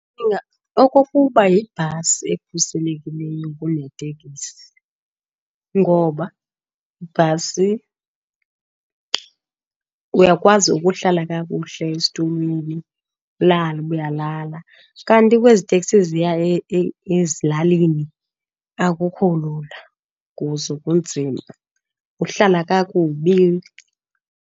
Ndicnga okokuba yibhasi ekhuselekileyo kuneteksi. Ngoba ibhasi uyakwazi ukuhlala kakuhle esitulweni, ulale uba uyalala, kanti kwezi teksi ziya ezilalini akukho lula kuzo kunzima, uhlala kakubi.